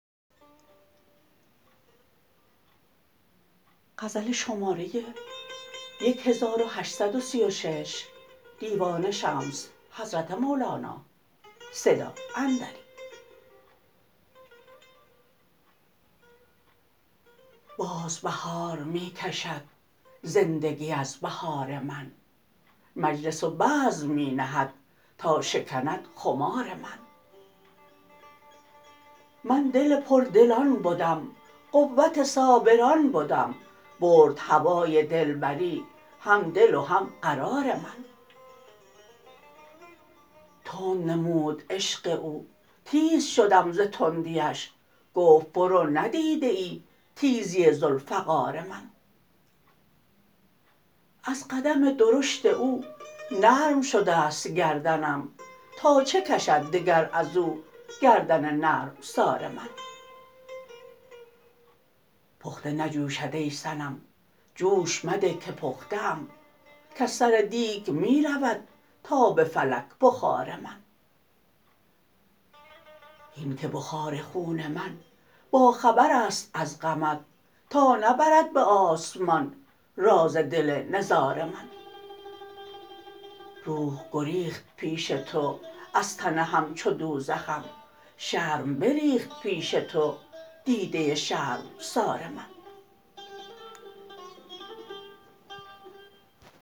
باز بهار می کشد زندگی از بهار من مجلس و بزم می نهد تا شکند خمار من من دل پردلان بدم قوت صابران بدم برد هوای دلبری هم دل و هم قرار من تند نمود عشق او تیز شدم ز تندیش گفت برو ندیده ای تیزی ذوالفقار من از قدم درشت او نرم شده ست گردنم تا چه کشد دگر از او گردن نرمسار من پخته نجوشد ای صنم جوش مده که پخته ام کز سر دیگ می رود تا به فلک بخار من هین که بخار خون من باخبر است از غمت تا نبرد به آسمان راز دل نزار من روح گریخت پیش تو از تن همچو دوزخم شرم بریخت پیش تو دیده شرمسار من